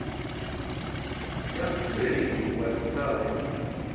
ya mutsireledzi wa tshitshavha i